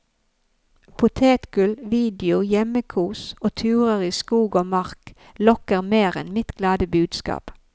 Potetgull, video, hjemmekos og turer i skog og mark, lokker mer enn mitt glade budskap.